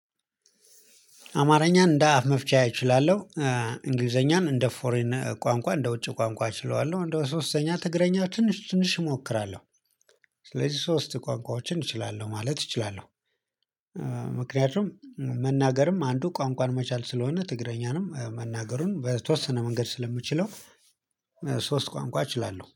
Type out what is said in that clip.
አማርኛን እንደ አፍ መፍቻ እችላለሁ እንግሊዘኛን እንደ ፎሬን ቋንቋ እንደ ውጭ ቋንቋ እችለዋለሁ እንደው ሶስተኛ ትግረኛ ትንሽ ትንሽ እሞክራለሁ። ስለዚህ ሶስት ቋንቋዎችን እችላለሁ ማለት እችላለሁ። ምክንያቱም መናገርም አንዱ ቋንቋን መቻል ስለሆነ ትግረኛንም መናገሩን በተወሰነ መንገድ ስለምችለው። ሶስት ቋንቋ እችላለሁ